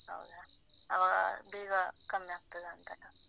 ಬೇಗ ಕಮ್ಮಿ ಆಗ್ತದಾಂತಲ್ಲ?